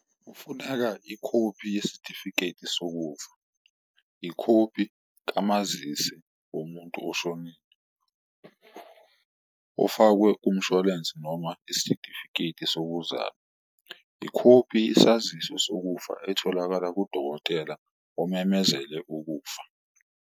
Kufunaka ikhophi yesitifiketi sokufa, ikhophi kamazisi womuntu oshonile ofakwe kumshwalensi noma isitifiketi sokuzalwa, ikhophi yesaziso sokufa etholakala kudokotela omemezele ukufa.